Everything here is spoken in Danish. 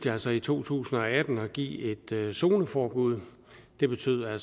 altså i to tusind og atten at give et zoneforbud det betød at